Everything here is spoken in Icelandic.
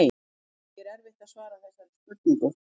Því er erfitt að svara þessari spurningu.